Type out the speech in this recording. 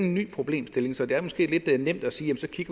en ny problemstilling så det er måske lidt nemt at sige at